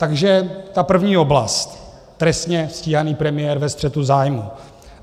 Takže ta první oblast - trestně stíhaný premiér ve střetu zájmů.